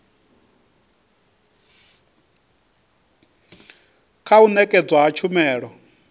kha u nekedzwa ha tshumelo